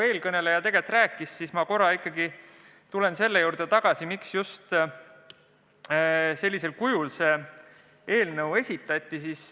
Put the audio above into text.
Eelkõneleja juba rääkis, aga ma korra ikkagi tulen selle juurde tagasi, miks see eelnõu just sellisel kujul esitati.